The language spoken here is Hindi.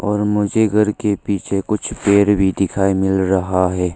और मुझे घर के पीछे कुछ पेड़ भी दिखाई मिल रहा हैं।